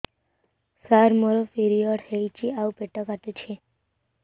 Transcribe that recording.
ସାର ମୋର ପିରିଅଡ଼ ହେଇଚି ଆଉ ପେଟ କାଟୁଛି